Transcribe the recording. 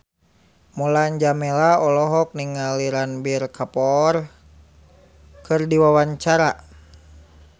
Mulan Jameela olohok ningali Ranbir Kapoor keur diwawancara